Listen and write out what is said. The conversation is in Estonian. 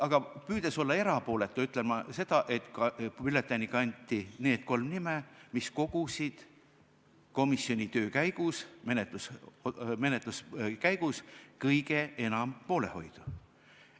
Aga püüdes olla erapooletu, ütlen ma seda, et ka bülletääni kanti need kolm nime, mis kogusid komisjoni töö, menetluse käigus kõige enam poolehoidu.